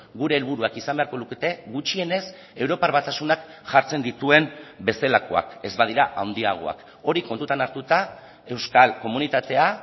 gure helburuak izan beharko lukete gutxienez europar batasunak jartzen dituen bezalakoak ez badira handiagoak hori kontutan hartuta euskal komunitatea